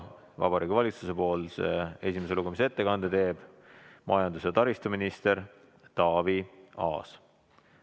Vabariigi Valitsuse nimel teeb esimese lugemise ettekande majandus- ja taristuminister Taavi Aas.